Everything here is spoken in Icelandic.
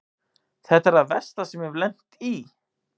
Þetta er það versta sem ég hef lent í.